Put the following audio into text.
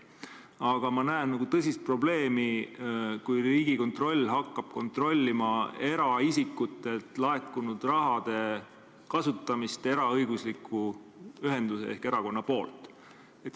Aga ma näen tõsist probleemi, kui Riigikontroll hakkab kontrollima eraisikutelt laekunud raha kasutamist eraõigusliku ühenduse ehk erakonna poolt.